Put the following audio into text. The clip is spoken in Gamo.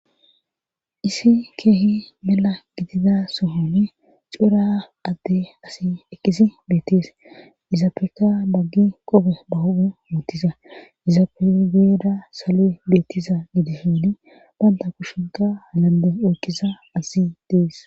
Issi keehi mela gidida sohonne cuura adde asi ekisi beettees izaapeka baggi qobe ba hou muutiza izapegeeda salo7 beettiza gide hini baynta kushinka halande oykkisa asi dees